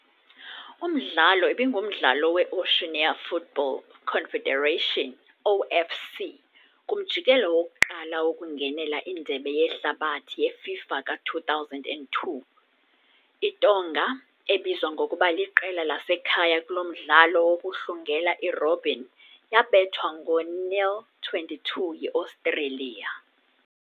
Umdlalo ibingumdlalo weOceania Football Confederation, OFC, kumjikelo wokuqala wokungenela iNdebe yeHlabathi yeFIFA ka-2002 . ITonga, ebizwa ngokuba liqela lasekhaya kulo mdlalo wokuhlungela i-robin, yabethwa ngo'0-22 yi-Australia.